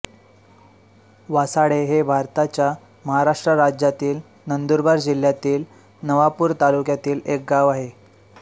वासाडे हे भारताच्या महाराष्ट्र राज्यातील नंदुरबार जिल्ह्यातील नवापूर तालुक्यातील एक गाव आहे